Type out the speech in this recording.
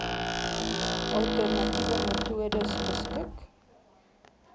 alternatiewe metodes beskik